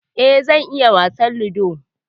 E, zan iya wasan Ludo.